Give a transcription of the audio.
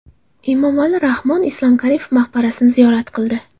Emomali Rahmon Islom Karimov maqbarasini ziyorat qildi.